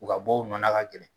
U ka bɔ u nɔnna ka gɛlɛn.